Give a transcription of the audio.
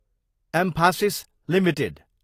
Mphasis Ltd